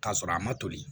K'a sɔrɔ a ma toli